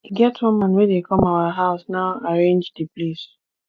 e get one man wey dey come our house now arrange the place